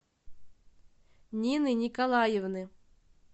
нины николаевны